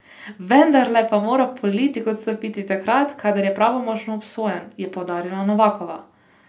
Vendarle pa mora politik odstopiti takrat, kadar je pravnomočno obsojen, je poudarila Novakova.